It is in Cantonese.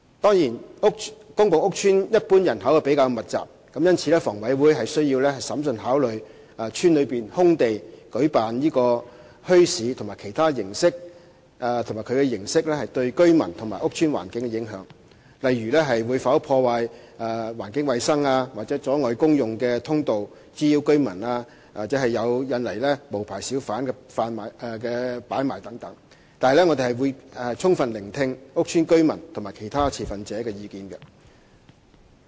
當然，公共屋邨一般人口比較密集，故此，房委會須審慎考慮在屋邨內空地舉辦墟市及其形式對居民和屋邨環境的影響，例如會否破壞環境衞生、阻礙公用通道、滋擾居民或引來無牌小販擺賣等，但我們會充分聆聽屋邨居民及其他持份者的意見。